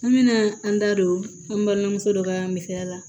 An bɛna an da don an balimamuso dɔ ka misaliya la